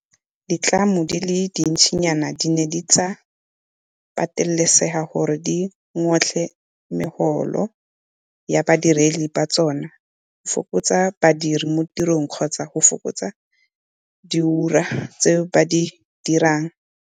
Ditlamo di le dintsinyana di ne tsa patelesega gore di ngotle megolo ya badiredi ba tsona, go fokotsa badiri mo tirong kgotsa go fokotsa diura tseo ba di dirang.